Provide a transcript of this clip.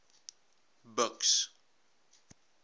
buks